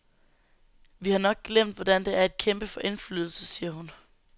Vi har nok glemt, hvordan det er at kæmpe for indflydelse, siger hun.